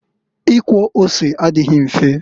Ikwọ ose adịghị mfe.